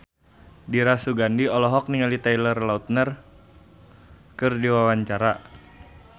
Dira Sugandi olohok ningali Taylor Lautner keur diwawancara